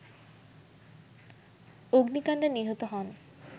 অগ্নিকাণ্ডে নিহত হন